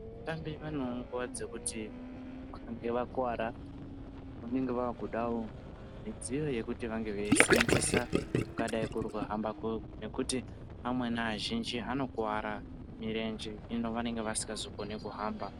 Vatambi vanewo nguwa dzekuti vakange vakuwara vanenge vakudawo midziyo yekuti vanenge veisenzesa kungadai kuri kuhamba ngekuti amweni azhinji anokuwara murenje hino vanenge vasikazokoni kuhamba .